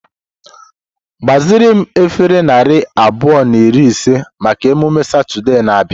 Gbaziri m efere narị abụọ na iri ise maka emume Satọde na-abịa.